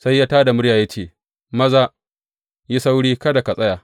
Sai ya tā da murya ya ce, Maza, yi sauri kada ka tsaya.